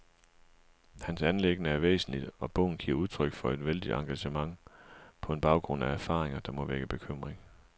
Hans anliggende er væsentligt, og bogen giver udtryk for et vældigt engagement på en baggrund af erfaringer, der må vække bekymring.